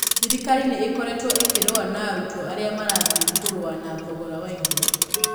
Thirikari nĩ ĩkoretwo ĩkĩrũa na arutwo arĩa marathiĩ kũrũa na thogora wa indo.